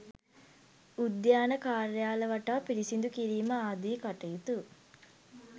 උද්‍යාන කාර්යාල වටා පිරිසිදු කිරීම ආදී කටයුතු.